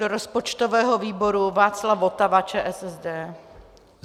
Do rozpočtového výboru Václav Votava, ČSSD.